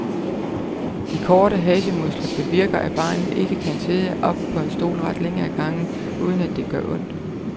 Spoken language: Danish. De korte hasemuskler bevirker, at barnet ikke kan sidde ret op på en stol ret længe ad gangen, uden at det gør ondt.